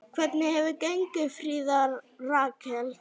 Hvernig hefur gengið, Fríða Rakel?